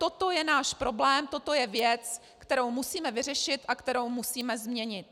Toto je náš problém, toto je věc, kterou musíme vyřešit a kterou musíme změnit.